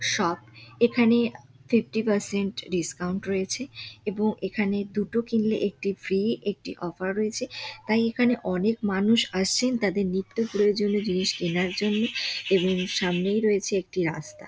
Shop এখানে fifty percent discount রয়েছে এবং এখানে দুটো কিনলে একটি ফ্রি একটি অফার রয়েছে। তাই এখানে অনেক মানুষ আসছেন তাদের নিত্যি প্রয়োজনীয় জিনিস কেনার জন্য এবং সামনে রয়েছে একটি রাস্তা।